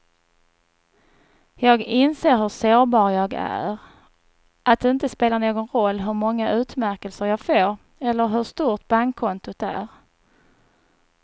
Jag inser hur sårbar jag är, att det inte spelar någon roll hur många utmärkelser jag får eller hur stort bankkontot är.